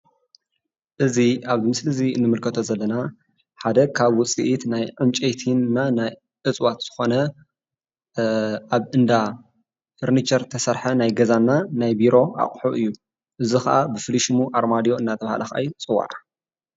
እዚ ኣብዚ ምስሊ እዚ እንምልከቶ ዘለና ሓደ ካብ ውፅኢት ናይ ዕንጨይቲና ናይ እፅዋት ዝኾነ ኣብ እንዳ ፈርኒቸር ዝተሰርሐ ናይ ገዛ እና ናይ ቢሮ ኣቑሑ እዩ፡፡ እዚ ከዓ ብፍሉይ ሽሙ ኣርማድዮ እንናተባህለ ኸዓ ይፅዋዕ፡፡